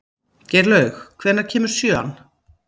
Geirlaug, hvenær kemur sjöan?